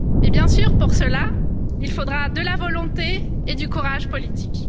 Bien sûr, pour cela, il faudra de la volonté et du courage politique.